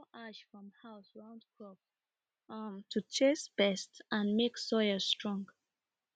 dem dey pour ash from house round crop um to chase pest and make soil strong